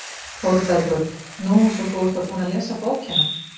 ÞÓRBERGUR: Nú, svo þú ert þá búin að lesa bókina!